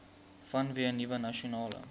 vanweë nuwe nasionale